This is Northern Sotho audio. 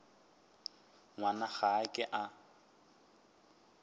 ngwana ga a ke a